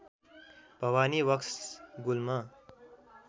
भवानी वक्स गुल्म